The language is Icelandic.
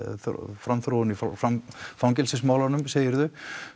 framþróun í fangelsismálunum segirðu